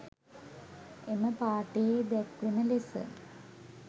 එම පාඨයේ දැක්වෙන ලෙස